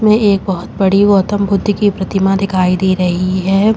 इसमें एक बहुत बड़ी गौतम बुद्ध की प्रतिमा दिखाई दे रही है।